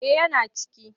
Eh yana ciki.